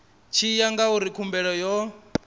tshi ya ngauri khumbelo yo